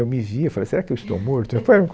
Eu me vi e falei, será que eu estou morto?